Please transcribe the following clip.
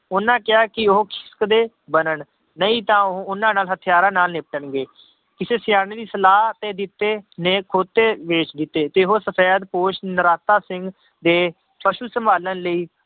ਉਹਨਾਂ ਕਿਹਾ ਕਿ ਉਹ ਬਣਨ ਨਹੀਂ ਤਾਂ ਉਹ ਉਹਨਾਂ ਨਾਲ ਹਥਿਆਰਾਂ ਨਾਲ ਨਿਪਟਣਗੇ, ਕਿਸੇ ਸਿਆਣੇ ਦੀ ਸਲਾਹ ਤੇ ਜਿੱਤੇ ਨੇ ਖੋਤੇ ਵੇਚ ਦਿੱਤੇ ਤੇ ਉਹ ਸਫ਼ੈਦਪੋਸ਼ ਨਰਾਤਾ ਸਿੰਘ ਦੇ ਫਸਲ ਸੰਭਾਲਣ ਲਈ